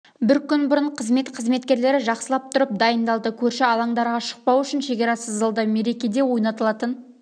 бір күн бұрын қызмет қызметкерлері жақсылап тұрып дайындалды көрші алаңдарға шықпау үшін шекара сызылды мерекеде ойналатын